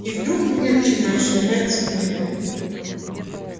и вдруг в меня начинают швырять книгами